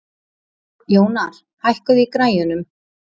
Jónar, hækkaðu í græjunum.